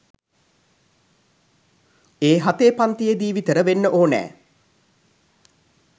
ඒ හතේ පන්තියේ දී විතර වෙන්න ඕනෑ.